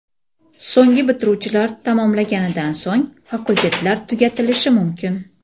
So‘nggi bitiruvchilar tamomlaganidan so‘ng, fakultetlar tugatilishi mumkin.